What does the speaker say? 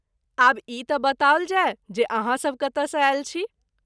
आब ई त’ बताओल जाय जे आहाँ सभ कतय सँ आयल छी।